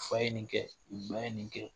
Fa ye nin kɛ i ba ye nin kɛ